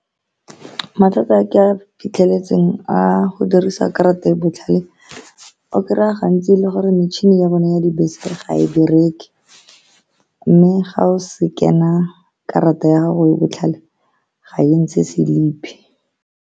Mathata a ke a fitlheletseng a go dirisa karata e e botlhale, o kry-ya gantsi e le gore mechine-ni ya bone ya dibese ga e bereke, mme ga o scan-a karata ya gago e e botlhale, ga e ntshe selipi.